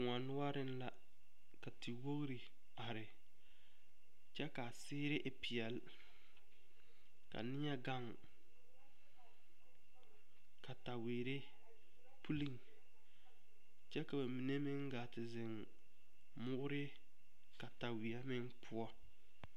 Koɔ noɔreŋ la ka tewogri ard kyɛ ka a seere e peɛle ka neɛ gaŋ kataweere pulliŋ kyɛ ka ba mine meŋ gaa te zeŋ moore kataweɛ meŋ poɔ.